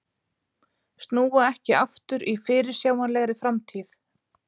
Snúa ekki aftur í fyrirsjáanlegri framtíð